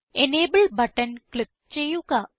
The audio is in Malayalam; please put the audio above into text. എനബിൾ ബട്ടൺ ക്ലിക്ക് ചെയ്യുക